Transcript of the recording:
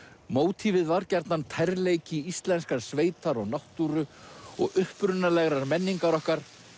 mótívið var gjarnan tærleiki íslenskrar sveitar og náttúru og upprunalegrar menningar okkar